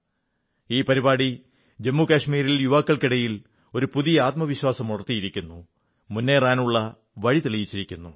ഈ പരിപാടി ജമ്മു കാശ്മീരിലെ യുവാക്കളിൽ ഒരു പുതിയ ആത്മവിശ്വാസമുണർത്തിയിരിക്കുന്നു മുന്നേറാനുള്ള വഴിതെളിച്ചിരിക്കുന്നു